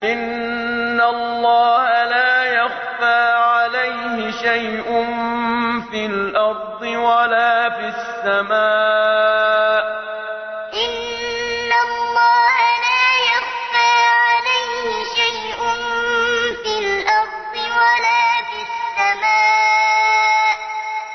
إِنَّ اللَّهَ لَا يَخْفَىٰ عَلَيْهِ شَيْءٌ فِي الْأَرْضِ وَلَا فِي السَّمَاءِ إِنَّ اللَّهَ لَا يَخْفَىٰ عَلَيْهِ شَيْءٌ فِي الْأَرْضِ وَلَا فِي السَّمَاءِ